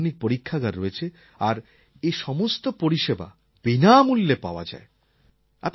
অনেক আধুনিক পরীক্ষাগার রয়েছে আর এসমস্ত পরিষেবা বিনামূল্যে পাওয়া যায়